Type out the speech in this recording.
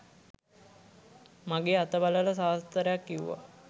මගේ අත බලලා සාස්තරයක් කිව්වා.